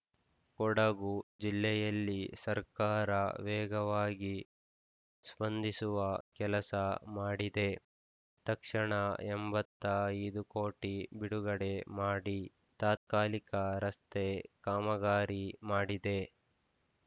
ಕೊಡಗು ಜಿಲ್ಲೆಯಲ್ಲಿ ಸರ್ಕಾರ ವೇಗವಾಗಿ ಸ್ಪಂದಿಸುವ ಕೆಲಸ ಮಾಡಿದೆ ತಕ್ಷಣ ಎಂಬತ್ತ ಐದು ಕೋಟಿ ಬಿಡುಗಡೆ ಮಾಡಿ ತಾತ್ಕಾಲಿಕ ರಸ್ತೆ ಕಾಮಗಾರಿ ಮಾಡಿದೆ